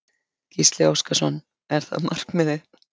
Gísli Óskarsson: Er það markmiðið?